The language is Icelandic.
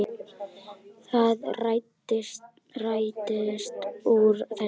Það rættist úr þessu.